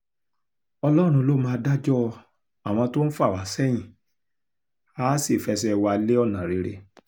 ọlọ́run ló máa dájọ́ àwọn tó ń fà wá sẹ́yìn àá sì fẹsẹ̀ wa lé ọ̀nà rere